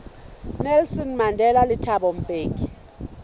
nelson mandela le thabo mbeki